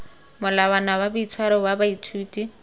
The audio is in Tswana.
molawana wa boitshwaro wa baithuti